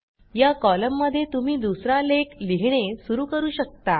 या कॉलममध्ये तुम्ही दुसरा लेख लिहिणे सुरू करू शकता